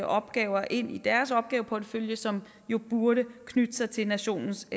opgaver ind i deres opgaveportefølje som jo burde knytte sig til nationens